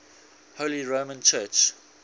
holy roman church